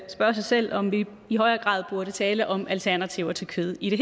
spørge sig selv om vi i højere grad burde tale om alternativer til kød i det